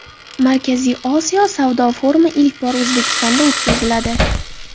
Markaziy Osiyo savdo forumi ilk bor O‘zbekistonda o‘tkaziladi.